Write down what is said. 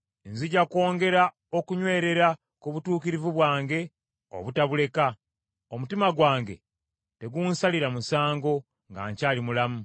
Nzija kwongera okunywerera ku butuukirivu bwange obutabuleka; omutima gwange tegunsalira musango nga nkyali mulamu.